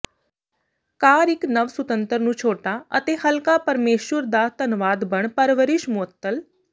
ਕਾਰ ਇੱਕ ਨਵ ਸੁਤੰਤਰ ਨੂੰ ਛੋਟਾ ਅਤੇ ਹਲਕਾ ਪਰਮੇਸ਼ੁਰ ਦਾ ਧੰਨਵਾਦ ਬਣ ਪਰਵਰਿਸ਼ ਮੁਅੱਤਲ